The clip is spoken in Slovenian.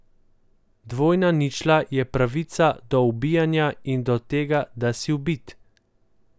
Dvojna ničla je pravica do ubijanja in do tega, da si ubit.